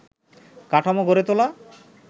কাঠামো গড়ে তোলা